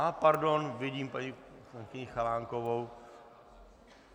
A pardon, vidím paní poslankyni Chalánkovou.